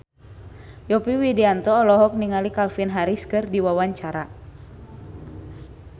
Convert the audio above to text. Yovie Widianto olohok ningali Calvin Harris keur diwawancara